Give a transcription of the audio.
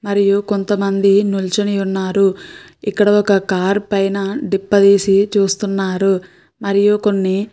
మరియు కొంతమంది నిల్చుని ఉన్నారు. ఇక్కడ ఒక కార్ పైన దిప్ప తీసి చూస్తున్నారు. మరియు కొన్ని --